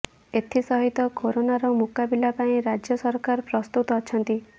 ଏଥିସହିତ କୋରୋନାର ମୁକାବିଲା ପାଇଁ ରାଜ୍ୟ ସରକାର ପ୍ରସ୍ତୁତ ଅଛନ୍ତି